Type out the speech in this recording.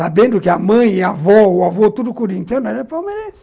Sabendo que a mãe, a avó, o avô, tudo corintiano, ela é palmeirense.